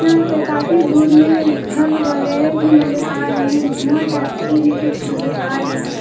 यहां पे काफी दूर में घर वगैरा भी नजर आ रहे हैं धुआं टाइप की भी कुछ नजर आ रहे हैं।